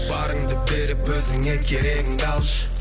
барыңды беріп өзіңе керегіңді алшы